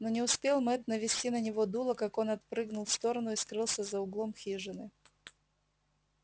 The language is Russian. но не успел мэтт навести на него дуло как он отпрыгнул в сторону и скрылся за углом хижины